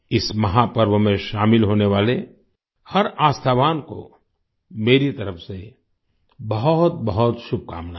इस महापर्व में शामिल होने वाले हर आस्थावान को मेरी तरफ़ से बहुतबहुत शुभकामनाएँ